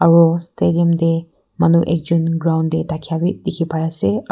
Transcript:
aro stadium teh manu ekjon ground teh thaka bhi dikhi pai ase ar--